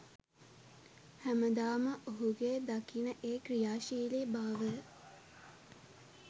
හැමදාම ඔහුගේ දකින ඒ ක්‍රියාශීලී බාවය